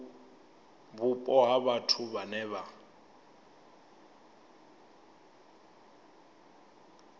vhupo ha vhathu vhe vha